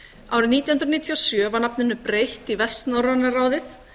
árið nítján hundruð níutíu og sjö var nafninu breytt í vestnorræna ráðið